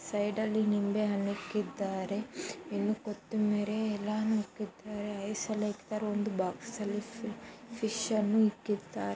ಒಂದು ಬಾಕ್ಸ್ ಅಲ್ಲಿ ಫಿಶ್ ಅನ್ನು ಇಟ್ಟಿದ್ದಾರೆ